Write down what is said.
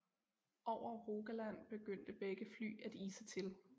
Over Rogaland begyndte begge fly at ise til